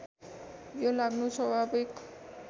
यो लाग्नु स्वाभाविक